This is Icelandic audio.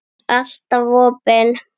Alltaf opin.